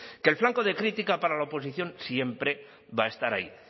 que el flanco de crítica para la oposición siempre va a estar ahí